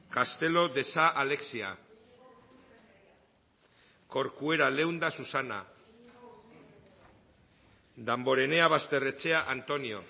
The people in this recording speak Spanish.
castelo de sa alexia corcuera leunda susana damborenea basterrechea antonio